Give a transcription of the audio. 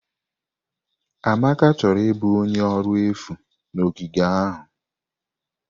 Amaka chọrọ ịbụ onye ọrụ efu na ogige ahụ.